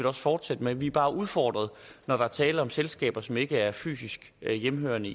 også fortsætte med vi er bare udfordret når der er tale om selskaber som ikke er fysisk hjemmehørende